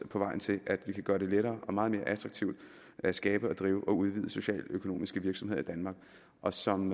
på vejen til at vi kan gøre det lettere og meget mere attraktivt at skabe og drive og udvide socialøkonomiske virksomheder i danmark og som